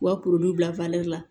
U ka bila la